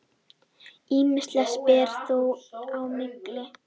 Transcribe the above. Ýmislegt ber þó á milli.